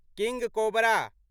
किंग cobra